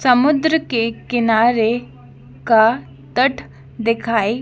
समुद्र के किनारे का तट दिखाई--